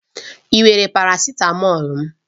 Ị were parasitamọ̀lu m?